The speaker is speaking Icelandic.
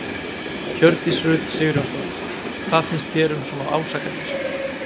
Hjördís Rut Sigurjónsdóttir: Hvað finnst þér um svona ásakanir?